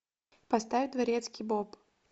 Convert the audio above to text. поставь дворецкий боб